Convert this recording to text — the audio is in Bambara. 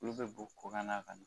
Olu be bo kokanna ka na.